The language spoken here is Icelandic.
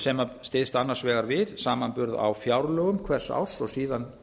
sem styðst annars vegar við samanburð á fjárlögum hvers árs og síðan